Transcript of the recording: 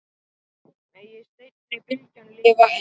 Megi seinni bylgjan lifa enn.